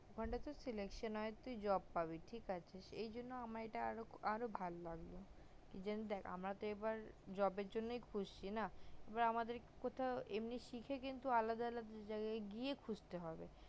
ঐখানটা যদি selection হয় তালে তুই job পাবি ঠিক আছে এই জন্য আমার এটা আরো ভাল লাগলো কি জানি দেখ আমরা তো এবার job এর জন্য ঘুরছি না এবার আমাদের কে এমনি শিখে কিন্তু আলাদা আলাদা জায়গায় গিয়ে খুঁজতে হবে